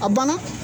A banna